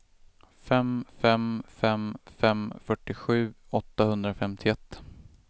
fem fem fem fem fyrtiosju åttahundrafemtioett